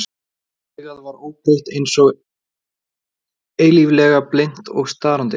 Hitt augað var óbreytt einsog eilíflega, blint og starandi.